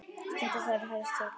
Stundum þurfi helst þrjá til.